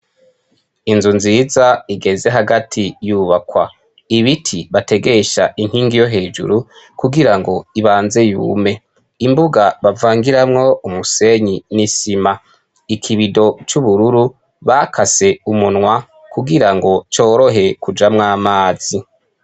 Inzu nziza igeze hagati yubakwa. Ibiti bategesha inkingi yo hejuru kugirango ibanze ibume. Imbuga bavangiramwo umusenyi n'isima. Ikibido c'ubururu bakase umunwa kugirango corohe kujamwo amazi.